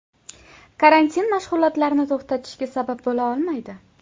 Karantin mashg‘ulotlarni to‘xtatishga sabab bo‘la olmaydi.